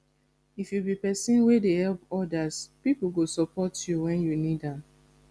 if you be pesin wey dey help odas pipo go support you wen you need am